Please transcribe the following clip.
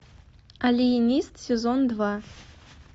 алиенист сезон два